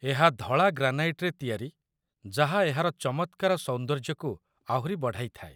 ଏହା ଧଳା ଗ୍ରାନାଇଟ୍‌ରେ ତିଆରି ଯାହା ଏହାର ଚମତ୍କାର ସୌନ୍ଦର୍ଯ୍ୟକୁ ଆହୁରି ବଢ଼ାଇଥାଏ।